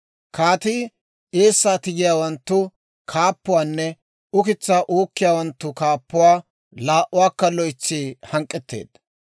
Kaatii eessaa tigiyaawanttu kaappuwaanne ukitsaa uukkiyaawanttu kaappuwaa laa"uwaakka loytsi hank'k'etteedda.